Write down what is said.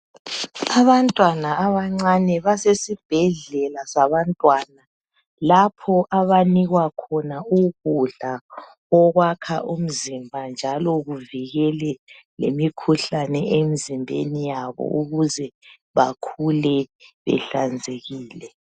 Abantwana abancane basesibhedlela sabantwana lapho abanikwa khona ukudla okwakha umzimba njalo kuvikele lemikhuhlane emizimbeni yabo ukuze bekhule behlanzekile.